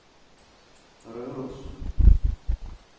Røros